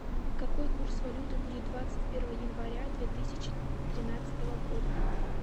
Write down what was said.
какой курс валюты будет двадцать первого января две тысячи тринадцатого года